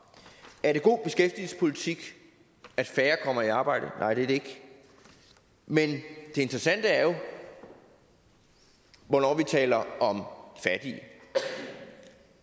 er det god beskæftigelsespolitik at færre kommer i arbejde nej det er det ikke men det interessante er jo hvornår vi taler om fattige